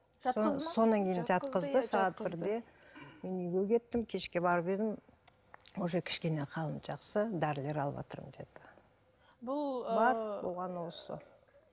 сағат бірде мен үйге кеттім кешке барып едім уже кішкене қалым жақсы дәрілер алыватырмын деді